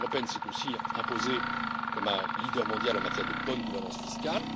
L'Union européenne s'est aussi imposée comme un leader mondial en matière de bonne gouvernance fiscale.